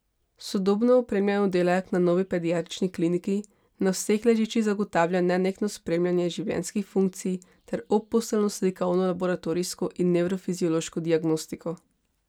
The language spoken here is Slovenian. Sodobno opremljen oddelek na novi Pediatrični kliniki na vseh ležiščih zagotavlja nenehno spremljanje življenjskih funkcij ter obposteljno slikovno, laboratorijsko in nevrofiziološko diagnostiko.